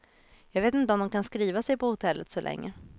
Jag vet inte om de kan skriva sig på hotellet så länge.